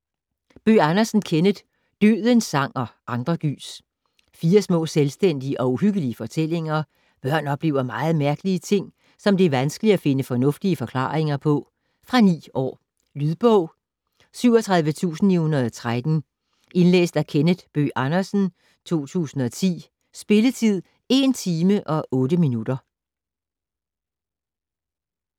Bøgh Andersen, Kenneth: Dødens sang - og andre gys Fire små, selvstændige og uhyggelige fortællinger. Børn oplever meget mærkelige ting, som det er vanskeligt at finde fornuftige forklaringer på. Fra 9 år. Lydbog 37913 Indlæst af Kenneth Bøgh Andersen, 2010. Spilletid: 1 timer, 8 minutter.